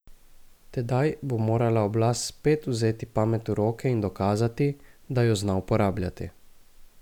Tedaj bo morala oblast spet vzeti pamet v roke in dokazati, da jo zna uporabljati.